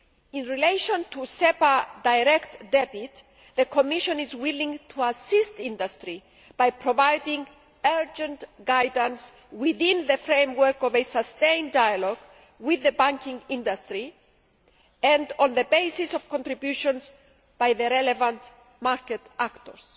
In relation to SEPA direct debit, the Commission is willing to assist industry by providing urgent guidance within the framework of a sustained dialogue with the banking industry and on the basis of contributions by the relevant market actors.